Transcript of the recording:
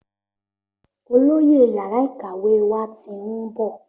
Olóyè yàrá ìkàwé wá tin ń bọ̀